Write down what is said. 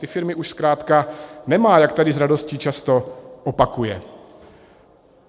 Ty firmy už zkrátka nemá, jak tady s radostí často opakuje.